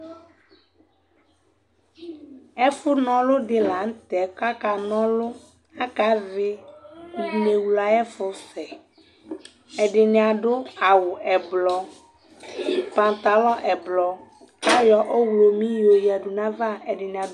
ɛƒʋ nɔlʋ di lantɛ kʋ aka nɔlʋ kʋ aka vli inɛwlʋ ayi ɛƒʋ sɛ, ɛdini adʋ awʋ ɛblɔ, pantalon ɛblɔ kʋ ayɔ ɔwlɔmi yɔ yɛdʋ nʋ aɣa